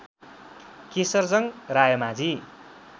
Kesharjung Raimajhi